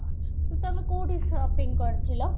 ତମେ କୋଉଠୁ shopping କରିଥିଲ